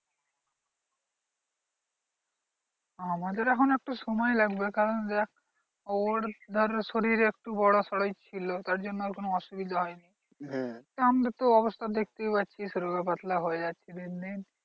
আমাদের এখন একটু সময় লাগবে কারণ দেখ ওর ধর শরীর একটু বড়োসরোই ছিল তার জন্য আর কোনো অসুবিধা হয় নি। আমাদের তো অবস্থা দেখতেই পারছিস রোগ পাতলা হয়ে আছি দিনদিন।